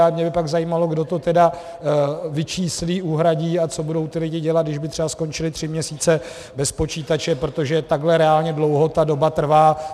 A mě by pak zajímalo, kdo to tedy vyčíslí, uhradí a co budou ti lidé dělat, když by třeba skončili tři měsíce bez počítače, protože takhle reálně dlouho ta doba trvá.